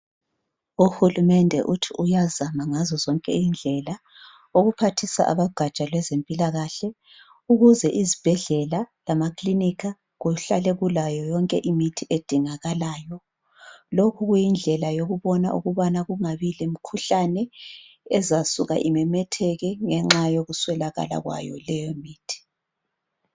uhulumende uthi uyazama ngazozonke indlela ukuphathisa abo gaja lwezempilakahle ukuze izibhedlela lama kilinika kuhlale kulayo yonke imithi edingakalayo lokhu kuyi ndlela yokubona ukungabi lemikhuhlane ezasuka imemetheke ngenxa yokuswelakala kwayo leyo mithi